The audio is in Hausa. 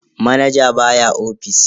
Manaja baya ofis.